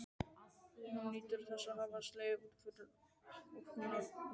Hún nýtur þess að hafa slegið hann út af laginu.